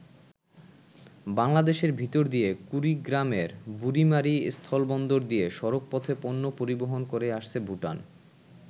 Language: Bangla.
বাংলাদেশের ভিতর দিয়ে কুড়িগ্রামের বুড়িমারী স্থলবন্দর দিয়ে সড়কপথে পণ্য পরিবহন করে আসছে ভুটান।